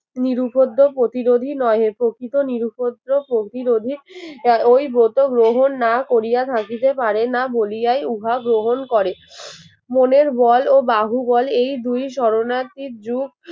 নিরুপদ্য প্রতিরোধই নহে প্রকৃত নিরুপদ্রব প্রতিরোধে ওই ব্রত গ্রহণ না করিয়া থাকিতে পারে না বলিয়ায় উহা গ্রহণ করে, মনের বল ও বাহুবল এই দুই শরণার্থীর যুগ